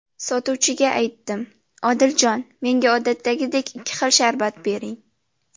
Sotuvchiga aytdim: ‘Odiljon, menga odatdagidek ikki xil sharbat bering‘.